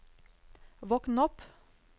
våkn opp